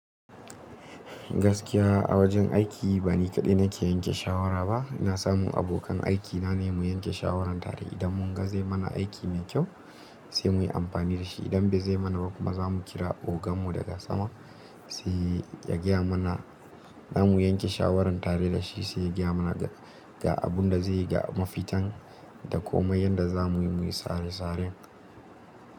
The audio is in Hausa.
Gaskiya a wajen aiki ba ni kaɗai nake yanke shawara ba. Ina samun abokan aikina ne mu yanke shawaran tare. Idan mun ga zai mana aiki mai kyau sai muyi amfani da shi. Idan bai zai mana ba kuma, za mu kira oganmu daga sama sai ya gaya mana. Za mu yanke shawaran tare da shi, sai ya gaya mana ga abun da zaiyi ga mafitan da komai yanda za muyi muyi sare-sare.